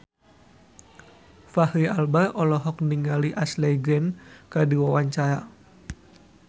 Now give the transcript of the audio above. Fachri Albar olohok ningali Ashley Greene keur diwawancara